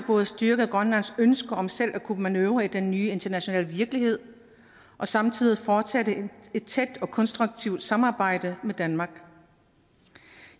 både styrker grønlands ønske om selv at kunne manøvrere i den nye internationale virkelighed og samtidig fortsætte et tæt og konstruktivt samarbejde med danmark